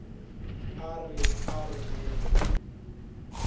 a re a re ye